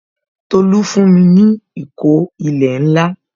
Tolu fún mi ní ìkó ilẹ̀ ńlá